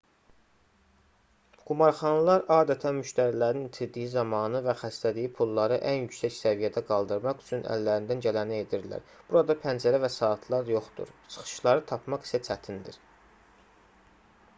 qumarxanalar adətən müştərilərin itirdiyi zamanı və xərclədiyi pulları ən yüksək səviyyəyə qaldırmaq üçün əllərindən gələni edirlər burada pəncərə və saatlar yoxdur çıxışları tapmaq isə çətindir